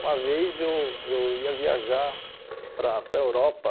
Uma vez eu eu ia viajar para para a Europa